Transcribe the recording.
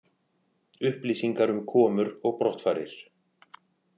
Upplýsingar um komur og brottfarir